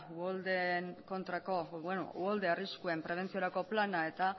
uholde arriskuen prebentziorako plana eta